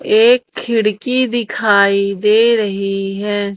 एक खिड़की दिखाई दे रही है।